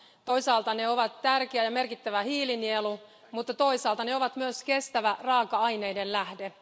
Toisaalta ne ovat tärkeä ja merkittävä hiilinielu, mutta toisaalta ne ovat myös kestävä raaka aineiden lähde.